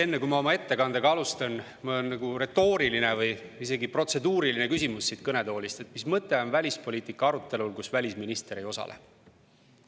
Enne, kui ma oma ettekannet alustan, on mul retooriline või isegi protseduuriline küsimus siit kõnetoolist: mis mõte on välispoliitika arutelul, kus välisminister ei osale?